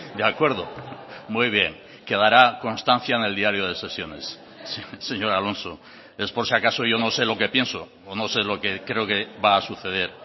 de acuerdo muy bien quedará constancia en el diario de sesiones señor alonso es por si acaso yo no sé lo que pienso o no sé lo que creo que va a suceder